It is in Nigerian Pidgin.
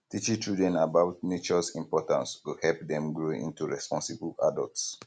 teaching children about natures importance go help dem grow into responsible adults